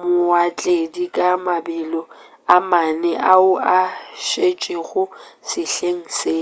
baotledi ka mabelo a mane ao a šetšego sehleng se